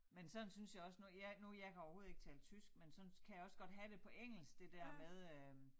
Men sådan synes jeg også nu jeg nu jeg kan overhovedet ikke tale tysk men sådan kan jeg også have det på engelsk det dér med øh